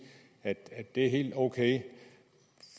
at det er helt ok